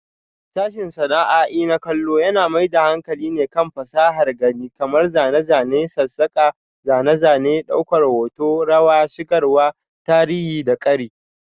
Sashen sana'a'i na kallo yana mai da hankali kan fasahar gani kamar zane, zane, sassaka, zane-zane, daukar hoto, rayarwa, shigarwa, tarihi da ƙari.